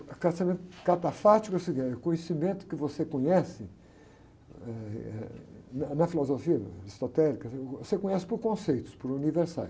O conhecimento catafático seria o conhecimento que você conhece, eh, eh, na filosofia aristotélica, você conhece por conceitos, por universais.